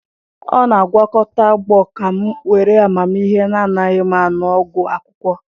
Ọ na-agwakọta agbo ka m were amaghị na anaghị m aṅụ ọgwụ akwụkwọ.